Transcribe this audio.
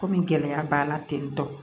Komi gɛlɛya b'a la tentɔ